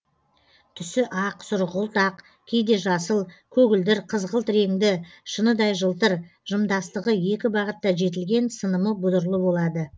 түсі ақ сұрғылт ақ кейде жасыл көгілдір қызғылт реңді шыныдай жылтыр жымдастығы екі бағытта жетілген сынымы бұдырлы болады